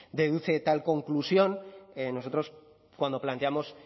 tal conclusión nosotros cuando planteamos